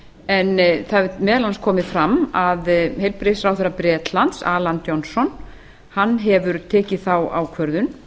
en það hefur meðal annars komið fram að heilbrigðisráðherra bretlands allan johnson hann hefur tekið þá ákvörðun